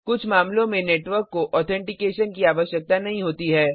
कुछ मामलों में नेटवर्क को ऑथेंटिकेशन की आवश्यकता नहीं होती है